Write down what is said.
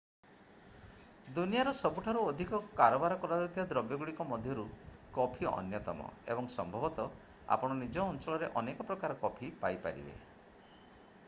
ଦୁନିଆର ସବୁଠାରୁ ଅଧିକ କାରବାର କରାଯାଉଥିବା ଦ୍ରବ୍ୟଗୁଡ଼ିକ ମଧ୍ୟରୁ କଫି ଅନ୍ୟତମ ଏବଂ ସମ୍ଭବତଃ ଆପଣ ନିଜ ଅଞ୍ଚଳରେ ଅନେକ ପ୍ରକାର କଫି ପାଇପାରିବେ